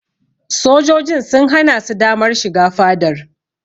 Sojojin sun hana su damar shiga fadar.